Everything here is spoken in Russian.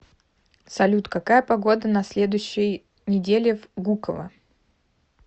салют какая погода на следующей неделе в гуково